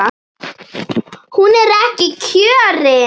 Hún er ekki kjörin.